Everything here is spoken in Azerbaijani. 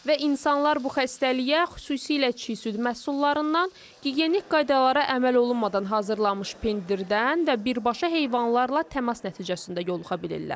Və insanlar bu xəstəliyə xüsusilə çiy süd məhsullarından, gigiyenik qaydalara əməl olunmadan hazırlanmış pendirdən və birbaşa heyvanlarla təmas nəticəsində yoluxa bilirlər.